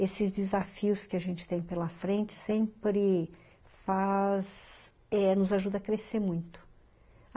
Esses desafios que a gente tem pela frente sempre... Faz... Nos ajudam a crescer muito.